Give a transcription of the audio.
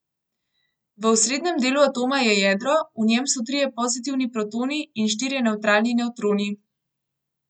V osrednjem delu atoma je jedro, v njem so trije pozitivni protoni in štirje nevtralni nevtroni.